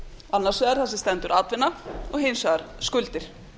annars vegar þar sem stendur atvinna og hins vegar skuldir